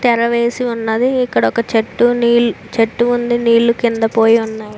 తెర వేసి ఉన్నదీ ఇక్కడ ఒక చెట్టు నీ చెట్టు ఉంది నీళ్లు కింద పోయి ఉన్నాయ్.